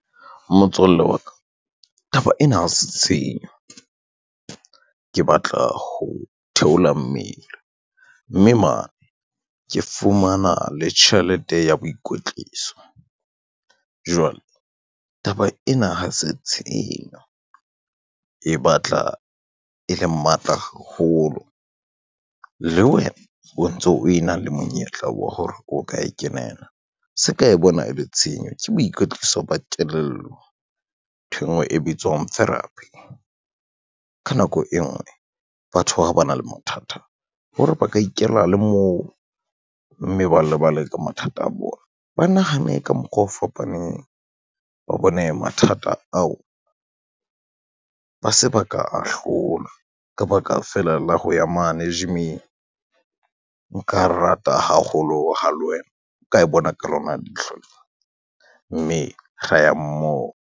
Motswalle wa ka, taba ena ha se tshenyo, ke batla ho theola mmele mme mane ke fumana le tjhelete ya boikwetliso. Jwale taba ena ha se tshenyo e batla e le matla haholo le wena o ntso o e na le monyetla wa hore o ka e kenela, se ka e bona e le tshenyo ke boikotliso ba tello, ntho e ngwe e bitswang therapy. Ka nako e ngwe batho ha ba na le mathata hore ba ka ikela le moo, mme ba lebale ka mathata a bona, ba nahane ka mokgwa o fapaneng, ba bone mathata ao ba se ba ka a hlola ka baka feela la ho ya mane gym-ing. Nka rata haholo ha le wena o ka e bona ka lona leihlo lena, mme ra ya mmoho.